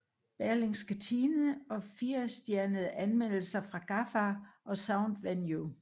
Berlingske Tidende og 4 stjernede anmeldelser fra Gaffa og Soundvenue